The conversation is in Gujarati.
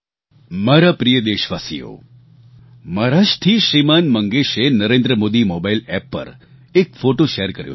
મારા પ્રિય દેશવાસીઓ મહારાષ્ટ્રથી શ્રીમાન મંગેશે નરેન્દ્ર મોદી મોબાઈલ એપ પર એક ફોટો શેર કર્યો છે